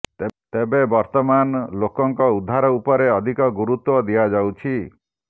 ତେବେ ବର୍ତମାନ ଲୋକଙ୍କ ଉଦ୍ଧାର ଉପରେ ଅଧିକ ଗୁରୁତ୍ୱ ଦିଆଯାଉଛି